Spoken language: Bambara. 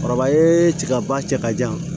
Kɔrɔba ye tigaba cɛ ka jan